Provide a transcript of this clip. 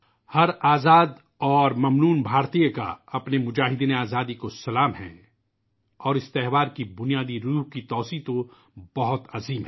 ہر آزاد اور ممنون ہندوستانی کا اپنے آزادی کے سپاہیوں کو سلام ہے اور اس مہوتسو کا بنیادی جذبہ تو بہت وسیع ہے